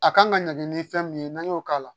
A kan ka ɲagami ni fɛn min ye n'an y'o k'a la